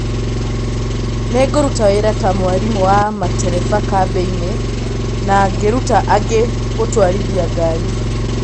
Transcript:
Na ngĩruta wĩra ta mwarĩmu wa matereba kambĩinĩ, na ngĩruta angĩ gũtwarithia ngari.